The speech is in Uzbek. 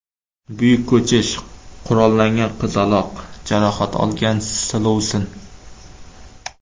Buyuk ko‘chish, qurollangan qizaloq, jarohat olgan silovsin.